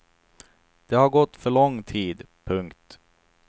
Det har gått för lång tid. punkt